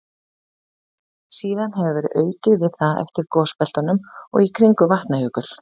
Síðan hefur verið aukið við það eftir gosbeltunum og í kringum Vatnajökul.